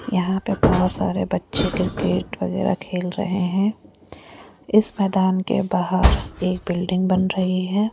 यहाँ पर बहुत सारे बच्चे क्रिकेट वगैरा खेल रहे हैं इस मैदान के बाहर एक बिल्डिंग बन रही है।